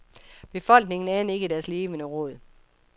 Befolkningen anede ikke deres levende råd.